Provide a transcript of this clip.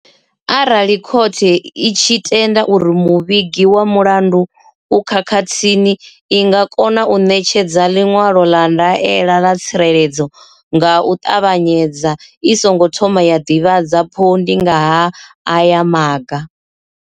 Arali khothe itshi tenda uri muvhigi wa mulandu u khakhathini i nga kona u ṋetshedza ḽiṅwalo ḽa ndaela ya tsireledzo nga u ṱavhanyedza i songo thoma ya ḓivhadza phondi nga ha aya maga.